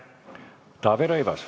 Taavi Rõivas.